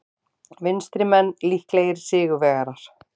Vinstrimenn líklegir sigurvegarar